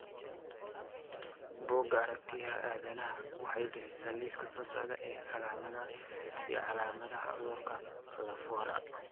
Bugga Aaragtiyaha Aadanaha waxay bixisaa liiska soo socda ee calaamadaha iyo calaamadaha cudurka Lafora.